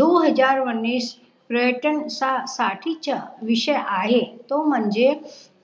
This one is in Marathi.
दो हजार उन्नीस पर्यटन साठी च्या विषय आहे तो म्हणजे